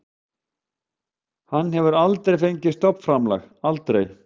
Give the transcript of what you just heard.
Hann hefur aldrei fengið stofnframlag, aldrei.